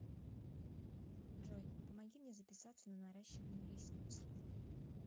джой помоги мне записаться на наращивание ресниц